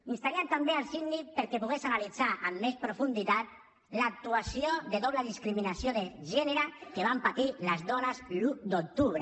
instaríem també el síndic perquè pogués analitzar amb més profunditat l’actuació de doble discriminació de gènere que van patir les dones l’un d’octubre